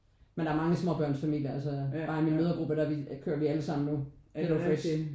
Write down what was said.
Men der er mange småbørnsfamilier altså bare i min mødregruppe der kører vi allesammen lige nu Hello Fresh